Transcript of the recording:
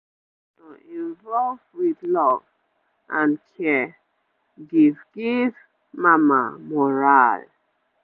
to involve with love and care give giv mama morale